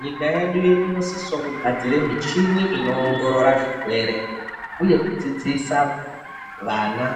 Nyika yedu inosisao kugadzira michini inoongorora zvirwere uye kudzidzisa vana